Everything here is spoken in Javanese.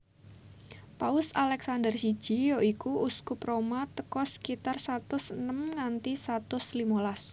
Paus Alèxandèr siji yoiku Uskup Roma tèko sekitar satus enem nganti satus limolas